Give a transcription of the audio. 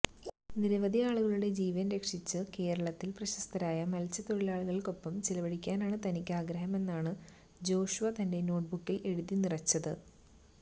നിരവധി ആളുകളുടെ ജീവന് രക്ഷിച്ച് കേരളത്തില് പ്രശസ്തരായ മത്സ്യത്തൊഴിലാളിക്കൊപ്പം ചിലവഴിക്കാനാണ് തനിക്ക് ആഗ്രഹമെന്നാണ് ജ്വേഷ്വാ തന്റെ നോട്ട്ബുക്കില് എഴുതി നിറച്ചത്